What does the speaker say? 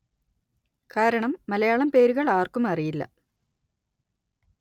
കാരണം മലയാളം പേരുകള്‍ ആര്‍ക്കും അറിയില്ല